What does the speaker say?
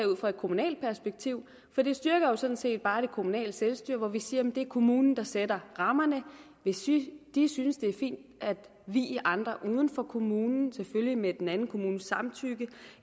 ud fra et kommunalt perspektiv for det styrker jo sådan set bare det kommunale selvstyre vi siger at det er kommunen der sætter rammerne hvis de de synes det er fint at vie andre uden for kommunen selvfølgelig med den anden kommunes samtykke